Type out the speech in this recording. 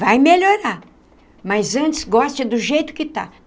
Vai melhorar, mas antes goste do jeito que está.